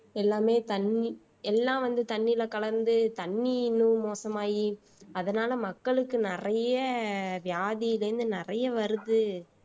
எல்லாமே தண்ணி எல்லாம் வந்து தண்ணியில கலந்து தண்ணி இன்னும் மோசமாயி அதனால மக்களுக்கு நிறைய வியாதியில இருந்து நிறைய வருது